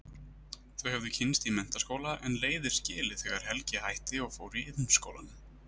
Þau höfðu kynnst í menntaskóla en leiðir skilið þegar Helgi hætti og fór í Iðnskólann.